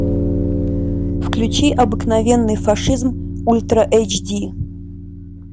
включи обыкновенный фашизм ультра эйч ди